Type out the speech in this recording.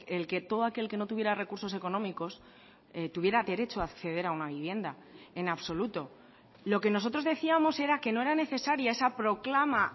el que todo aquel que no tuviera recursos económicos tuviera derecho a acceder a una vivienda en absoluto lo que nosotros decíamos era que no era necesaria esa proclama